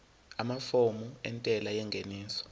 amafomu entela yengeniso